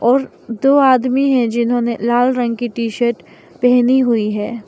और दो आदमी है जिन्होंने लाल रंग की टीशर्ट पेहनी हुई है।